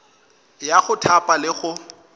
ya go thapa le go